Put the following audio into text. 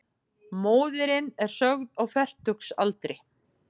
Móðirin er sögð á fertugsaldri